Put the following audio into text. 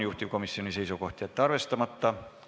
Juhtivkomisjoni seisukoht: jätta see arvestamata.